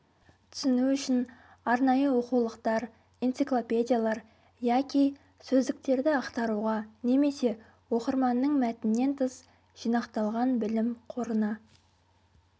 түсіну үшін арнайы оқулықтар энциклопедиялар яки сөздіктерді ақтаруға немесе оқырманның мәтіннен тыс жинақталған білім қорына